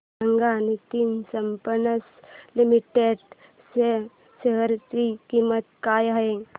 सांगा Nitin Spinners Limited च्या share ची किंमत काय आहे